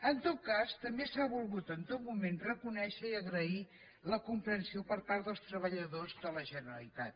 en tot cas també s’ha volgut en tot moment reconèixer i agrair la comprensió per part dels treballadors de la generalitat